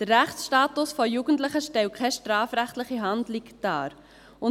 Der Rechtsstatus von Jugendlichen stellt keine strafrechtliche Handlung dar.